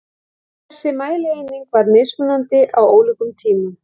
Þessi mælieining var mismunandi á ólíkum tímum.